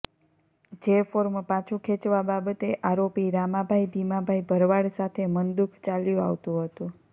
જે ફોર્મ પાછુ ખેંચવા બાબતે આરોપી રામાભાઈ ભીમાભાઈ ભરવાડ સાથે મનદુખ ચાલ્યું આવતું હતું